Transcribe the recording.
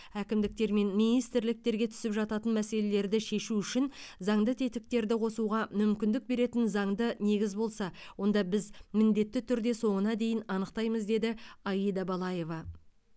әкімдіктер мен министрліктерге түсіп жататын мәселелерді шешу үшін заңды тетіктерді қосуға мүмкіндік беретін заңды негіз болса онда біз міндетті түрде соңына дейін анықтаймыз деді аида балаева